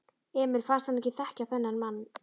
Emil fannst hann ekki þekkja þennan mann.